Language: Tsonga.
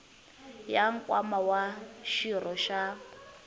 ya nkwama wa xirho xa